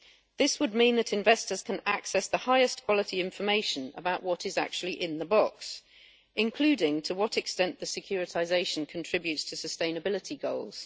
This would mean that investors can access the highest quality information about what is actually in the box, including to what extent the securitisation contributes to sustainability goals.